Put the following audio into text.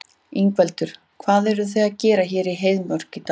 Ingveldur: Hvað eruð þið að gera hér í Heiðmörk í dag?